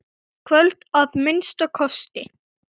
Í kvöld, að minnsta kosti.